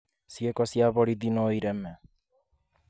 ciiiko cia borithĩ No ireme.